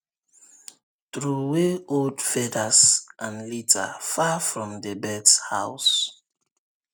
throway old feathers and litter far from the birds house